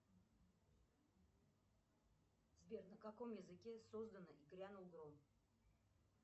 сбер на каком языке создана и грянул гром